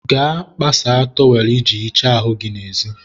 gaa kpasaa tọwelụ i ji hichaa ahụ n'ezi.